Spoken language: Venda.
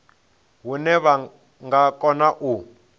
hune vha nga kona u